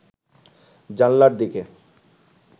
জানালার দিকে